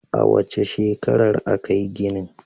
A wace shekarar aka yi ginin?